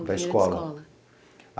Da escola.